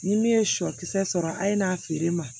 Ni min ye sɔ kisɛ sɔrɔ a ye n'a feere ma